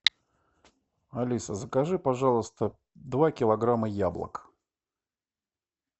алиса закажи пожалуйста два килограмма яблок